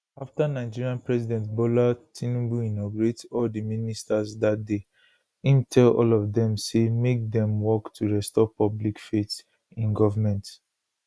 afta nigeria president bola tinubu inaugurate all di ministers dat day im tell all of dem say make demwork to restore public faith in goment